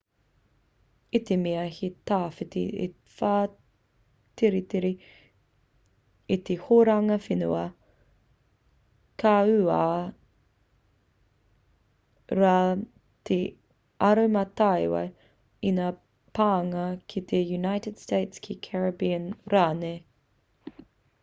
i te mea he tawhiti te whaititiri i te horonga whenua ka uaua rā te aromatawai i ngā pānga ki te united states ki caribbean rānei